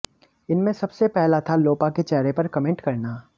इनमें सबसे पहला था लोपा के चेहरे पर कमेंट करना